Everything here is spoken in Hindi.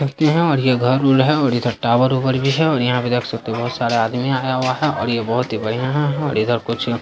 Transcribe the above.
व्यक्ति है और ये घर उर है और इधर टावर उवर भी है और यहाँ पे देख सकते हैं बहुत सारा आदमी आया हुआ है और ये बहुत ही बढ़िया है और इधर कुछ --